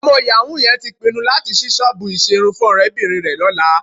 Ọmọ yàwú yẹn tí pinnu láti ṣí ṣọ́ọ̀bù ìṣerun fún ọ̀rẹ́bìnrin rẹ lọ́la